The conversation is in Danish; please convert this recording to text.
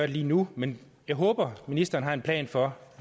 lige nu men jeg håber at ministeren har en plan for